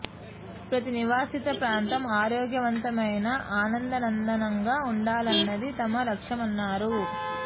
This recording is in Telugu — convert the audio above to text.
ప్రతి నివాసిత ప్రాంతం ఆరోగ్యవంతమైన ఆనంద నందనంగా ఉండాలన్నది తమ లక్ష్యమన్నారు